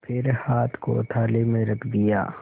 फिर हाथ को थाली में रख दिया